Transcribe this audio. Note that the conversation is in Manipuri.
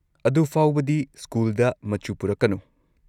ꯑꯗꯨꯐꯥꯎꯕꯗꯤ ꯁ꯭ꯀꯨꯜꯗ ꯃꯆꯨ ꯄꯨꯔꯛꯀꯅꯨ꯫